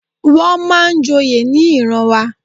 Wón máa ń joyè ní ìran wa.